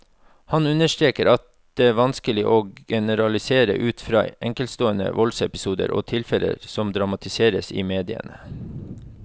Han understreker at det vanskelig å generalisere ut fra enkeltstående voldsepisoder og tilfeller som dramatiseres i mediene.